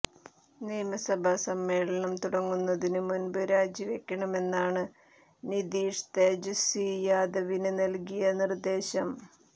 നിയമസഭാ സമ്മേളനം തുടങ്ങുന്നതിന് മുന്പ് രാജിവെക്കണമെന്നാണ് നിതീഷ് തേജസ്വി യാദവിന് നല്കിയ നിര്ദേശം